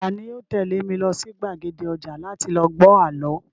Tani yoo tẹ̀lé mi lọ sí gbàgede ọjà láti lọ gbọ́ àlọ́?